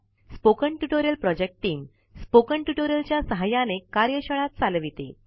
spoken tutorial project टीम160 spoken tutorial च्या सहाय्याने कार्यशाळा चालवते